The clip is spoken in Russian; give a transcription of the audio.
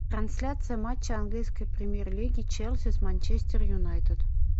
трансляция матча английской премьер лиги челси с манчестер юнайтед